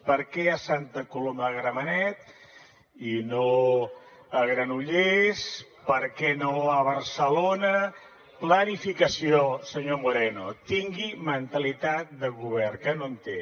per què a santa coloma de gramenet i no a granollers per què no a barcelona planificació senyor moreno tingui mentalitat de govern que no en té